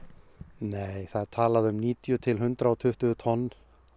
nei það er talað um níutíu til hundrað og tuttugu tonn